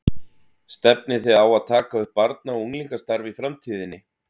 Stefnið þið á að taka upp barna og unglingastarf í framtíðinni?